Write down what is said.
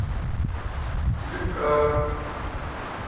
липках